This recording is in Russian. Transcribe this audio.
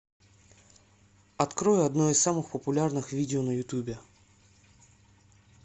открой одно из самых популярных видео на ютубе